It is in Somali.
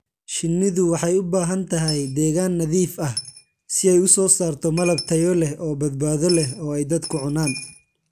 Shinnidu waxay u baahan tahay deegaan nadiif ah si ay u soo saarto malab tayo leh oo badbaado leh oo ay dadku cunaan.